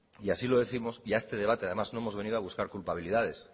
y así lo décimos y a este debate además no hemos venido a buscar culpabilidades